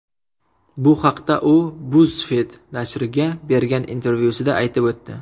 Bu haqda u BuzzFeed nashriga bergan intervyusida aytib o‘tdi .